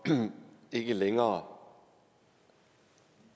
ikke længere